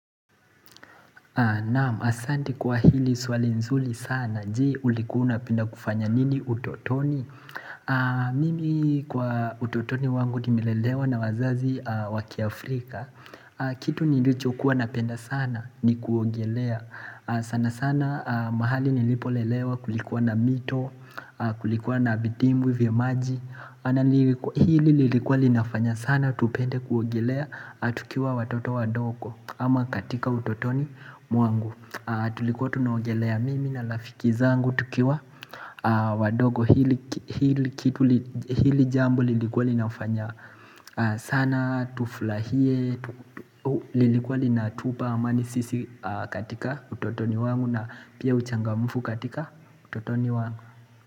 Naam, asante kwa hili swali nzuri sana, je ulikua una penda kufanya nini utotoni? Mimi kwa utotoni wangu nimelelewa na wazazi wa ki Afrika Kitu nilicho kuwa napenda sana ni kuogelea. Sana sana mahali nilipolelewa kulikuwa na mito, kulikuwa na vidimbwi vya maji Hili lilikuwa linafanya sana, tupende kuogelea, tukiwa watoto wadogo ama katika utotoni mwangu Tulikuwa tunaogelea mimi na lafiki zangu tukiwa wadogo hili jambo lilikuwa linafanya sana tuflahie, lilikuwa lina tupa amani sisi katika utotoni wangu na pia uchangamufu katika utotoni wangu.